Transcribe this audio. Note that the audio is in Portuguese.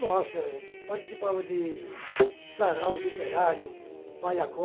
Nossa, participava de sarau literário,